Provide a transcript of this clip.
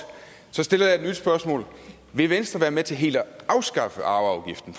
så stiller jeg et nyt spørgsmål vil venstre være med til helt at afskaffe arveafgiften